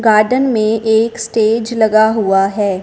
Garden में एक stage लगा हुआ है।